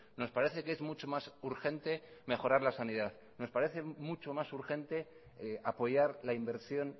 nos parece que es mucho más urgente mejorar la sanidad nos parece que es mucho más urgente apoyar la inversión